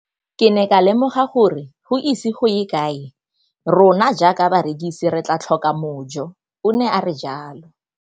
Ke ne ka lemoga gore go ise go ye kae rona jaaka barekise re tla tlhoka mojo, o ne a re jalo.